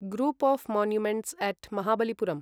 group of monuments at Mahabalipuram